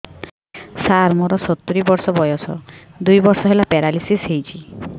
ସାର ମୋର ସତୂରୀ ବର୍ଷ ବୟସ ଦୁଇ ବର୍ଷ ହେଲା ପେରାଲିଶିଶ ହେଇଚି